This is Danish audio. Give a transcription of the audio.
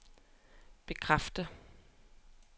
bekræfter